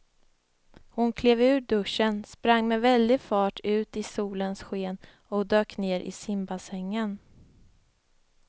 Hon klev ur duschen, sprang med väldig fart ut i solens sken och dök ner i simbassängen.